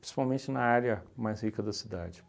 principalmente na área mais rica da cidade.